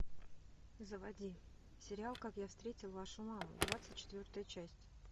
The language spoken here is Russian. заводи сериал как я встретил вашу маму двадцать четвертая часть